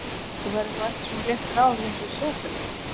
Þú verður þá ekki svona léttur á því eins og í sjónvarpinu?